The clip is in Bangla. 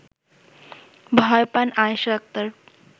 ভয় পান আয়েশা আক্তার